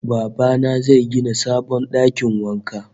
Baba na zai gina sabon dakin wanka